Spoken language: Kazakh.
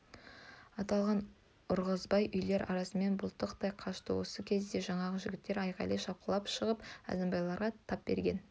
аттыларға ұрғызбай үйлер арасымен бұлтақ-тай қашты осы кезде жаңағы жігіттер айғайлай шапқылай шығып әзімбайларға тап берген